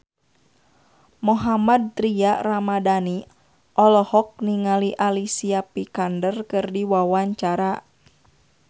Mohammad Tria Ramadhani olohok ningali Alicia Vikander keur diwawancara